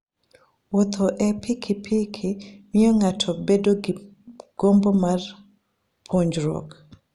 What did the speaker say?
Wuotho e wi pikipiki miyo ng'ato bedo gi gombo mar puonjruok.